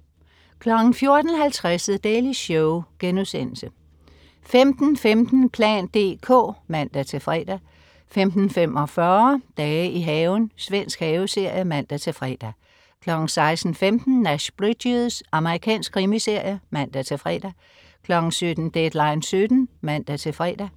14.50 The Daily Show* 15.15 plan dk (man-fre) 15.45 Dage i haven. Svensk haveserie (man-fre) 16.15 Nash Bridges. Amerikansk krimiserie (man-fre) 17.00 Deadline 17:00 (man-fre)